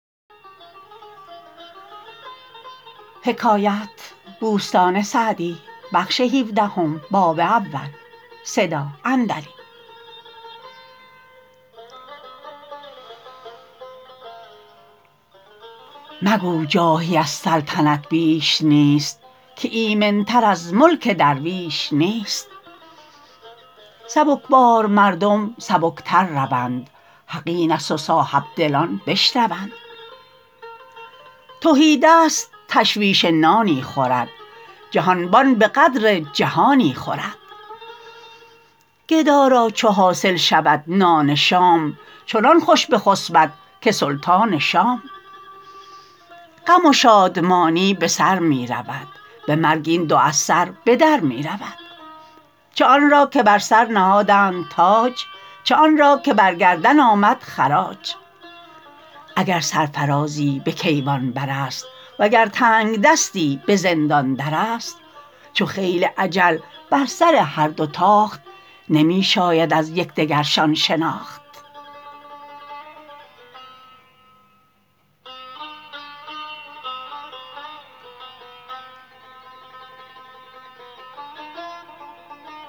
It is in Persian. مگو جاهی از سلطنت بیش نیست که ایمن تر از ملک درویش نیست سبکبار مردم سبک تر روند حق این است و صاحبدلان بشنوند تهیدست تشویش نانی خورد جهانبان به قدر جهانی خورد گدا را چو حاصل شود نان شام چنان خوش بخسبد که سلطان شام غم و شادمانی به سر می رود به مرگ این دو از سر به در می رود چه آن را که بر سر نهادند تاج چه آن را که بر گردن آمد خراج اگر سرفرازی به کیوان بر است وگر تنگدستی به زندان در است چو خیل اجل بر سر هر دو تاخت نمی شاید از یکدگرشان شناخت